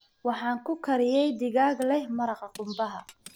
Waxaan ku kariyey digaag leh maraqa qumbaha.